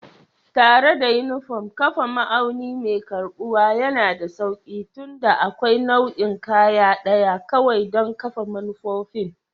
Tare da unifom, kafa ma'auni mai karɓuwa yana da sauƙi tunda akwai nau'in kaya ɗaya kawai don kafa manufofin